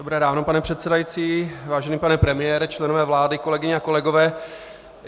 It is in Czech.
Dobré ráno, pane předsedající, vážený pane premiére, členové vlády, kolegyně a kolegové.